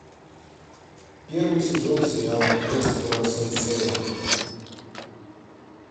первый сезон сериала квест коро сенсея